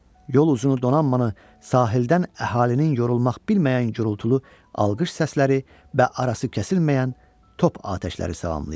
Yol uzunu donanmanı sahildən əhalinin yorulmaq bilməyən gürultulu alqış səsləri və arası kəsilməyən top atəşləri salamlayırdı.